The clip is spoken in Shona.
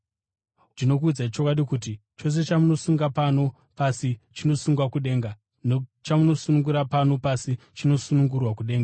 “Ndinokuudzai chokwadi kuti chose chamuchasunga pano pasi chichasungwa kudenga, nechamunosunungura pano pasi chichasunungurwa kudenga.